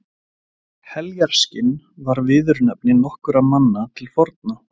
Heljarskinn var viðurnefni nokkurra manna til forna.